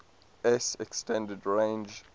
s extended range